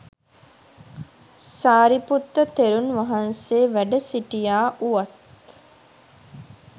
සාරිපුත්ත තෙරුණ් වහන්සේ වැඩ සිටියා වුවත්